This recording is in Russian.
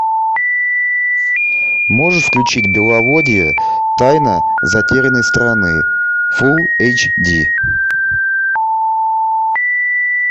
можешь включить беловодье тайна затерянной страны фул эйч ди